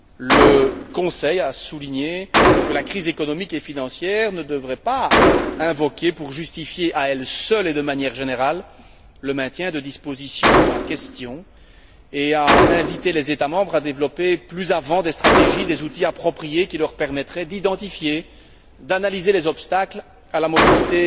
Le Conseil a souligné que la crise économique et financière ne devrait pas être invoquée pour justifier à elle seule et de manière générale le maintien des dispositions en question et a invité les États membres à développer plus avant des stratégies, des outils appropriés qui leur permettraient d'identifier, d'analyser les obstacles à la mobilité